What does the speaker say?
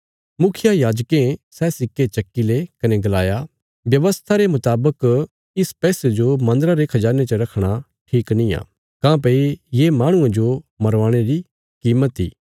मुखियायाजकें सै सिक्के चक्की ले कने गलाया व्यवस्था रे मुतावक इस पैसे जो मन्दरा रे खजाने च रखणा ठीक निआं काँह्भई ये माहणुये जो मरवाणे री कीमत इ